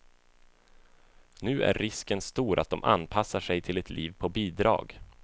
Nu är risken stor att de anpassar sig till ett liv på bidrag.